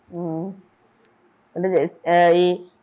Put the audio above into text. ഹും